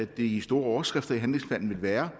de store overskrifter i handlingsplanen vil være